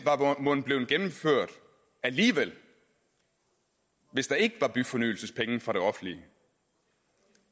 var mon blevet gennemført alligevel hvis der ikke var byfornyelsespenge fra det offentlige